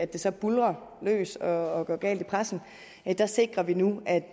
det så buldrer løs og går galt i pressen sikrer vi nu at